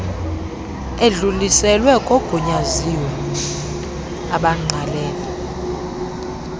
edluliselwe kogunyaziwe abangqalene